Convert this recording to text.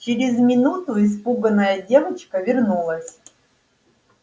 через минуту испуганная девочка вернулась